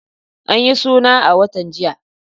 An yi suna a watan jiya.